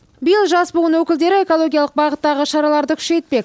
биыл жас буын өкілдері экологиялық бағыттағы шараларды күшейтпек